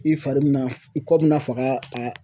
I fari bi na i kɔ bɛna faga a